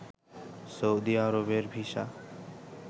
Saudi আরবের visa